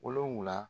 Wolonfila